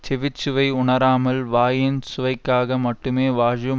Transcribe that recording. செவிச்சுவை உணராமல் வாயின் சுவைக்காக மட்டுமே வாஜும்